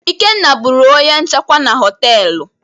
Ikenna bụrụ onye nchekwa na-họtelu.